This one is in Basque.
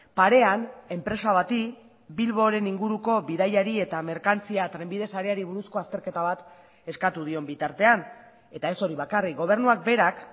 parean enpresa bati bilboren inguruko bidaiari eta merkantzia trenbide sareari buruzko azterketa bat eskatu dion bitartean eta ez hori bakarrik gobernuak berak